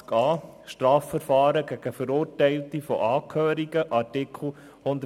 Statistiken zu Strafverfahren gegen und Verurteilungen von Angehörigen des Polizeikorps beinhaltet.